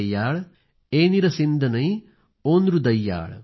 evil सेप्पुमोझी पधिनेतुडायल एनिल सिंधनाई ओंद्रुदयाळ